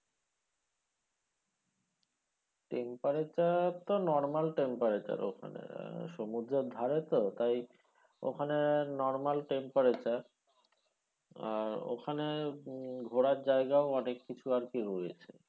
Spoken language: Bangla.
temperature তো normal temperature ওখানে আহ সমুদ্রের ধারে তো তাই ওখানে normal temperature আর ওখানে উম ঘোরার জায়গাও অনেক কিছু আরকি রয়েছে।